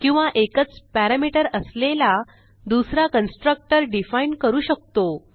किंवा एकच पॅरामीटर असलेला दुसरा कन्स्ट्रक्टर डिफाईन करू शकतो